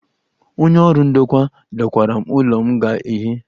Onye ọrụ ndokwa dokwara m ụlọ m ga-ehi.